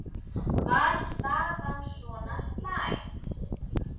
Var staðan svona slæm?